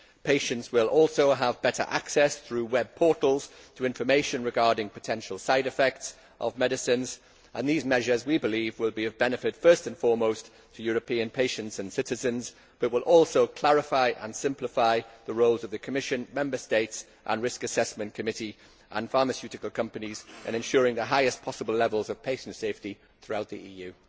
Patients will also have better access, through web portals, to information regarding potential side effects of medicines, and these measures, we believe, will be of benefit, first and foremost, to European patients and citizens, but will also clarify and simplify the roles of the Commission, Member States, and risk assessment committees and pharmaceutical companies in ensuring the highest possible levels of patient safety throughout the EU.